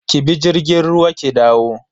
Ki bi jirgin ruwa ki dawo.